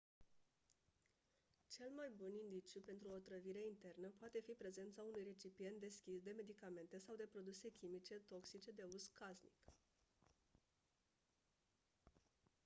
cel mai bun indiciu pentru o otrăvire internă poate fi prezența unui recipient deschis de medicamente sau de produse chimice toxice de uz casnic